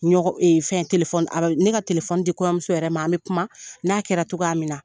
Ɲɔgɔn fɛn a ka ne ka di kɔɲɔmuso yɛrɛ ma, an bɛ kuma, n'a kɛra cogoya min na.